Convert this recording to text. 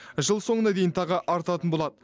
жыл соңына дейін тағы артатын болады